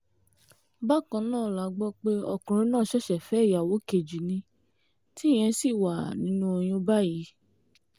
bákan náà la gbọ́ pé ọkùnrin náà ṣẹ̀ṣẹ̀ fẹ́ ìyàwó kejì ní tíyẹn ṣì wà nínú oyún báyìí